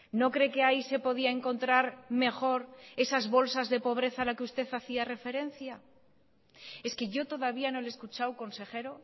no cree que ahí se podía encontrar mejor esas bolsas de pobreza a la que usted hacía referencia es que yo todavía no le he escuchado consejero